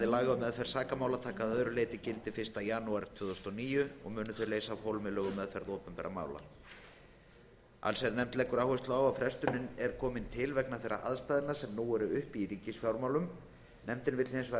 laga um meðferð sakamála taka að öðru leyti gildi fyrsta janúar tvö þúsund og níu og munu leysa af hólmi lög um meðferð opinberra mála allsherjarnefnd leggur áherslu á að frestunin er til komin vegna þeirra aðstæðna sem nú eru uppi í ríkisfjármálum nefndin vill hins vegar